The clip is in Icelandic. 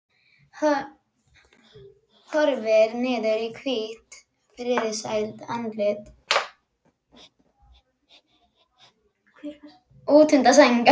Horfir niður í hvítt, friðsælt andlitið útundan sænginni.